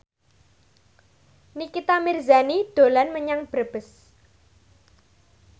Nikita Mirzani dolan menyang Brebes